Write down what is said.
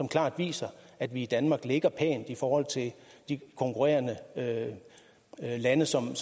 klart viser at vi i danmark ligger pænt i forhold til de konkurrerende lande som